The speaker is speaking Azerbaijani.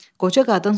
Qoca qadın susdu.